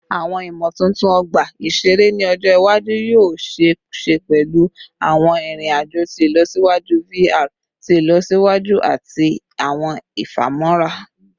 Awọn imotuntun ọgba iṣere ni ọjọ iwaju yoo ṣee ṣe pẹlu awọn irin-ajo ti ilọsiwaju VR ti ilọsiwaju ati awọn ifamọra